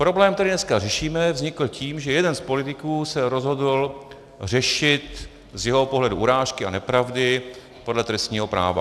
Problém, který dneska řešíme, vznikl tím, že jeden z politiků se rozhodl řešit z jeho pohledu urážky a nepravdy podle trestního práva.